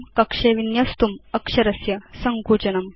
कक्षे विन्यस्तुम् अक्षरस्य सङ्कुचनम्